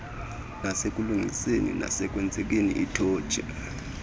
nasekulungiseni nasekusikeni itotshi